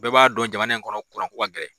Bɛɛ b'a dɔn jamana in kɔnɔ kuran ko ka gɛlɛn.